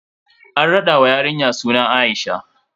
An raɗa wa yarinya suna A'isha.